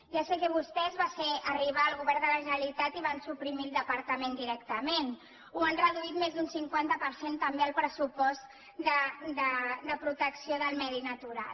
ja sé que vostès va ser arribar al govern de la generalitat i suprimir el departament directament o han reduït més d’un cinquanta per cent també el pressupost de protecció del medi natural